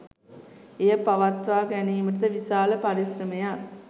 එය පවත්වා ගැනීමට ද විශාල පරිශ්‍රමයක්